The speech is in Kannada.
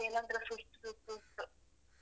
ಒಂತರ body ಯೆಲ್ಲ ಒಂತರ ಸುಸ್ತ್ ಸುಸ್ತ್ ಸುಸ್ತು.